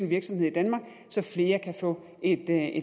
virksomhed i danmark så flere kan få et